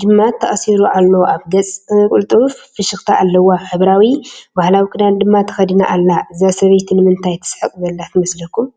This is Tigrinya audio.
ጅማት ተኣሲሩ ኣሎ። ኣብ ገጻ ቅልጡፍ ፍሽኽታ ኣለዋ፡ ሕብራዊ ባህላዊ ክዳን ድማ ተኸዲና ኣላ። እዛ ሰበይቲ ንምንታይ ትስሕቕ ዘላ ትመስለኩም?